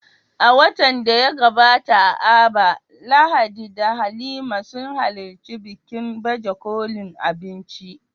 A watan da ya gabata a Aba, Lahadi da Halima sun halarci bikin baje kolin abinci